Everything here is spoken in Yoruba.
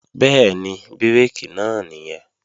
Bẹ́ẹ̀ni, bírèkì náà nìyẹn